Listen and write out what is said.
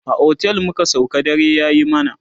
a otel muka sauka dare yayi mana